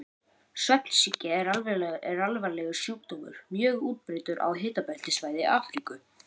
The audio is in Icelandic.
Svefnsýki er alvarlegur sjúkdómur, mjög útbreiddur á hitabeltissvæði Afríku.